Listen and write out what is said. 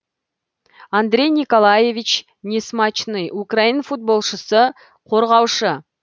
андрей николаевич несмачный украин футболшысы қорғаушы